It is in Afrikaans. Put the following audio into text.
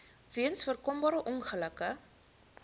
weens voorkombare ongelukke